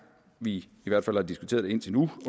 vi har diskuteret det indtil nu